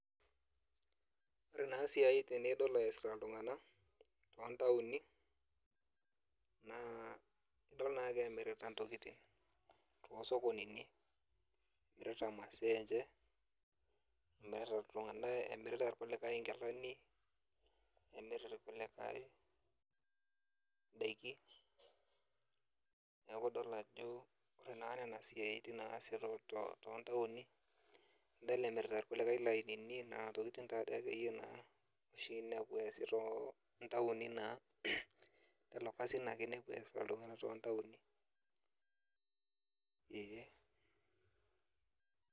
Ore naa isiai nidol ees iltung'anak tontaoni, naa idol nake emirita ntokiting tosokonini. Emirita masaa enche, emirata iltung'anak emirata irkulikae inkilani, emirata irkulikae idaiki. Neeku idol ajo ore naa nena siaitin naasi tontaoni, nidol emirata irkulikae ilainini, nena tokiting take duo yie naa inepu ees tontaoni naa, lelo kasin ake inepu eesita iltung'anak tontaoni, ee.